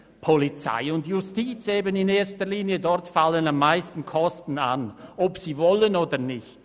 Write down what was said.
Polizei und Justiz in erster Linie: Dort fallen am meisten Kosten an, ob Sie wollen oder nicht.